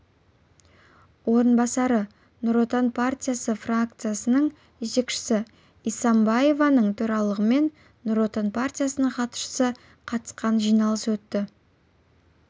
орынбасары нұр отан партиясы фракциясының жетекшісі исимбаеваның төрағалығымен нұр отан партиясының хатшысы қатысқан жиналысы өтті